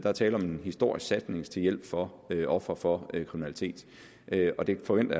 er tale om en stor satsning til hjælp for ofre for kriminalitet og det forventer